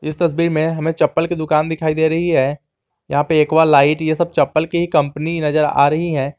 इस तस्वीर में हमें चप्पल की दुकान दिखाई दे रही है यहां पे एक्वा लाइट ये सब चप्पल की ही कंपनी नजर आ रही है।